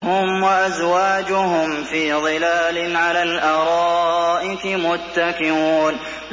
هُمْ وَأَزْوَاجُهُمْ فِي ظِلَالٍ عَلَى الْأَرَائِكِ مُتَّكِئُونَ